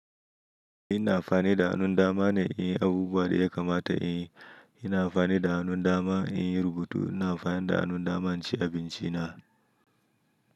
Ina amfani da hannun dama ne in yi abubuwa da ya kamata. Ina amfani da hannun dama in yi rubutu. Ina amfani da hannun dama in ci abinci na.